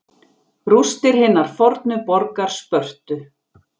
Rústir hinnar fornu borgar Spörtu.